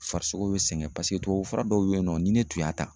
Farisogo be sɛgɛn paseke tubabu fura dɔw be yen nɔ ni ne tun y'a ta